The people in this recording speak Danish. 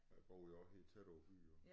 Der boede jeg også helt tæt på by jo